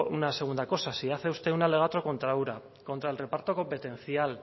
una segunda cosa si hace usted un alegato contra ura contra el reparto competencial